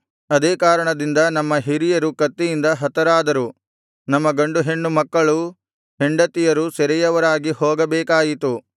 ಅದೇ ಕಾರಣದಿಂದ ನಮ್ಮ ಹಿರಿಯರು ಕತ್ತಿಯಿಂದ ಹತರಾದರು ನಮ್ಮ ಗಂಡು ಹೆಣ್ಣು ಮಕ್ಕಳೂ ಹೆಂಡತಿಯರೂ ಸೆರೆಯವರಾಗಿ ಹೋಗಬೇಕಾಯಿತು